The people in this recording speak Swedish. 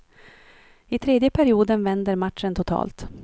I tredje perioden vänder matchen totalt.